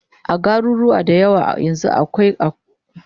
a garuruwa da yawa yanzun akwai kasuwan kayan gini